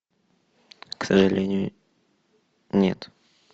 к сожалению нет